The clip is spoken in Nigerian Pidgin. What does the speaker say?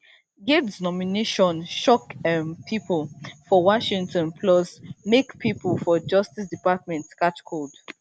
gaetz nomination shock um pipo for washington plus make pipo for justice department catch cold